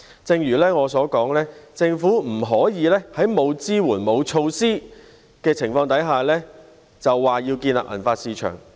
正如我所說，政府不能在沒有支援和措施的情況下，便說要建立銀髮市場。